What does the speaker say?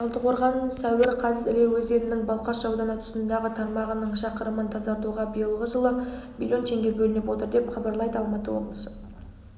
талдықорған сәуір қаз іле өзенінің балқаш ауданы тұсындағы тармағының шақырымын тазартуға биылғы жылы млн теңге бөлініп отыр деп хабарлады алматы облысы